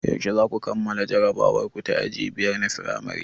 Yaushe zaku kammala jarabawar ku ta aji biyar na firamare?